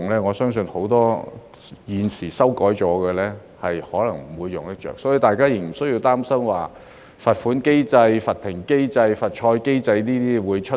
我相信，很多我們現在修改的規則，可能不會用得着，所以，大家不用擔心甚麼罰款機制、罰停賽機制會出現。